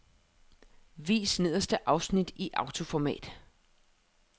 Vis nederste afsnit i autoformat.